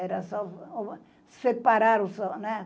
Era só separar o São, né?